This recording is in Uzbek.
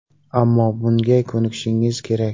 Ammo bunga ko‘nikishingiz kerak.